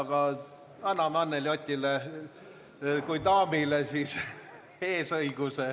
Aga anname Anneli Otile kui daamile eesõiguse.